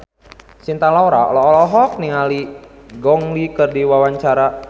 Cinta Laura olohok ningali Gong Li keur diwawancara